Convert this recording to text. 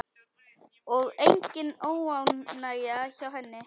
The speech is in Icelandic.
Og engin óánægja hjá henni?